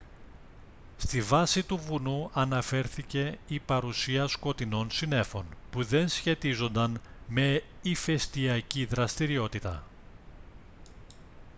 στη βάση του βουνού αναφέρθηκε η παρουσία σκοτεινών συννέφων που δεν σχετίζονταν με ηφαιστιακή δραστηριότητα